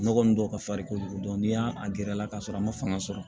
Nɔgɔ ninnu dɔw ka farin kojugu n'i y'a a gɛrɛ a la ka sɔrɔ a ma fanga sɔrɔ